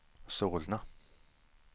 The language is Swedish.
Solna